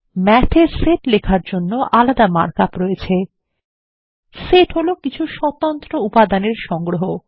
math এ set লেখার জন্য আলাদা মার্ক আপ রয়েছে সেট হলো কিছু স্বতন্ত্র উপাদান এর সংগ্রহ